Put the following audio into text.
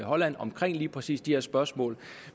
holland om lige præcis de her spørgsmål